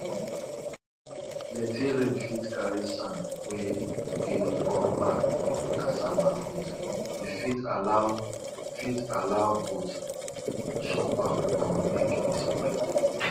plenty rain fit carry sand wey dey cover cassava root e fit allow fit allow goats chop am or make e spoil